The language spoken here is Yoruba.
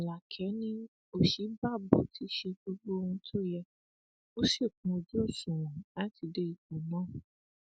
alákẹ ni òsínbàbò ti ṣe gbogbo ohun tó yẹ ó sì kún ojú òṣùwọn láti dé ipò náà